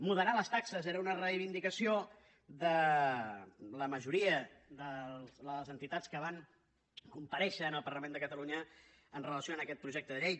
moderar les taxes era una reivindicació de la majoria de les entitats que van comparèixer en el parlament de catalunya amb relació a aquest projecte de llei